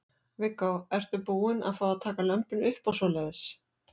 Viggó: Ertu búin að fá að taka lömbin upp og svoleiðis?